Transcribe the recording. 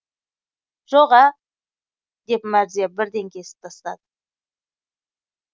жоға деп мәрзия бірден кесіп тастады